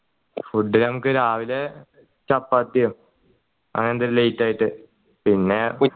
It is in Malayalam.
food ഞങ്ങൾക്ക് രാവിലെ ചപ്പാത്തിയും അങ്ങനെ എന്തേലും light ആയിട്ട് പിന്നെ